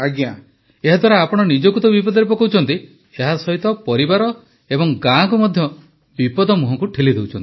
ପ୍ରଧାନମନ୍ତ୍ରୀ ଏହାଦ୍ୱାରା ଆପଣ ନିଜକୁ ତ ବିପଦରେ ପକାଉଛନ୍ତି ଏହାସହିତ ପରିବାର ଏବଂ ଗାଁକୁ ମଧ୍ୟ ବିପଦ ମୁହଁକୁ ଠେଲି ଦେଉଛନ୍ତି